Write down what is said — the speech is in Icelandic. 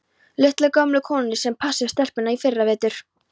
Litlu, gömlu konunni sem passaði stelpurnar í fyrravetur?